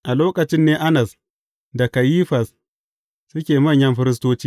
A lokacin ne Annas da Kayifas suke manyan firistoci.